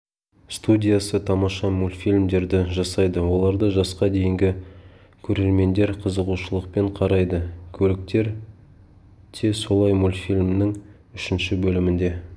студиясы тамаша мультфильмдерді жасайды оларды жасқа дейінгі көрермендер қызығушылықпен қарайды көліктер те солай мультфильмінің үшінші бөлімінде